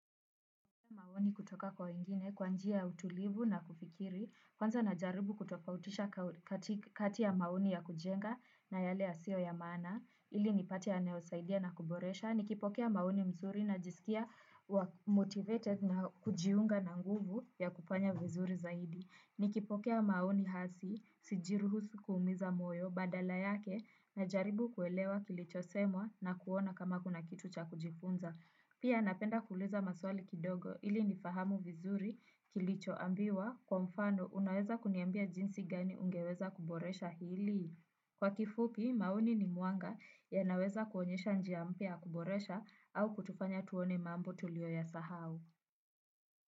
Maoni kutoka kwa wengine kwa njia ya utulivu na kufikiri kwanza najaribu kutofautisha kati ya maoni ya kujenga na yale yasiyo ya maana, ili nipate yanayosaidia na kuboresha, nikipokea maoni mzuri najisikia wa motivated na kujiunga na nguvu ya kufanya vizuri zaidi, nikipokea maoni hasi, sijiruhusu kuumiza moyo, badala yake, na mjaribu kuelewa kilichosemwa na kuona kama kuna kitu cha kujifunza. Pia napenda kuliza maswali kidogo ili nifahamu vizuri kilicho ambiwa kwa mfano unaweza kuniambia jinsi gani ungeweza kuboresha hili. Kwa kifupi, maoni ni mwanga yanaweza kuonyesha njia mpya ya kuboresha au kutufanya tuone mambo tulio yasahau.